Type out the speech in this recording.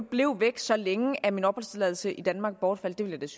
blev væk så længe at min opholdstilladelse i danmark bortfaldt ville